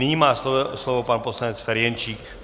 Nyní má slovo pan poslanec Ferjenčík.